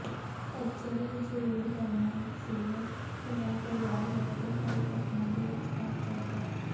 ਪੱਤਝੜ ਵਿੱਚ ਰੇਡ ਕਰਨਾ ਇਕ ਸਿਲਵਰ ਪੜਾਉ ਤਲਵਾਰ ਵਰਗੇ ਹਰੇ ਪੱਤਿਆਂ ਦੇ ਵਿਚਕਾਰ ਚਲਦਾ ਹੈ